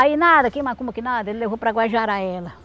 Aí nada, que macumba que nada, ele levou para Guajará ela.